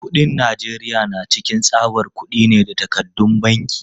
Kuɗin Najeriya na cikin tsabar kudi ne da takardun banki.